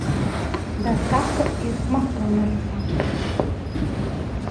доставка из макдональдса